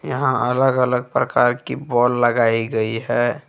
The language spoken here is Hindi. यहां अलग अलग प्रकार की बाल लगाई गई है।